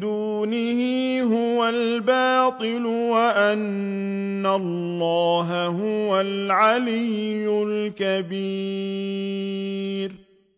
دُونِهِ هُوَ الْبَاطِلُ وَأَنَّ اللَّهَ هُوَ الْعَلِيُّ الْكَبِيرُ